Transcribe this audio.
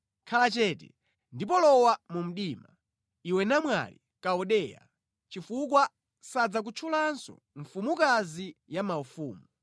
“Khala chete, ndipo lowa mu mdima, iwe namwali, Kaldeya; chifukwa sadzakutchulanso mfumukazi ya maufumu.